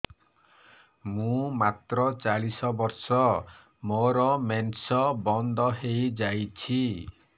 ମୁଁ ମାତ୍ର ଚାଳିଶ ବର୍ଷ ମୋର ମେନ୍ସ ବନ୍ଦ ହେଇଯାଇଛି